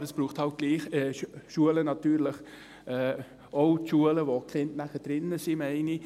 Aber es braucht natürlich eben doch auch Schulen, ich meine, auch die Schulen, in denen die Kinder nachher sind.